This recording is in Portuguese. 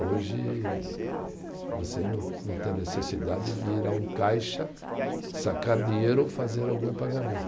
Hoje, você não não tem a necessidade de ir a um caixa, sacar dinheiro ou fazer algum pagamento.